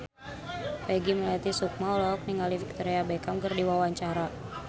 Peggy Melati Sukma olohok ningali Victoria Beckham keur diwawancara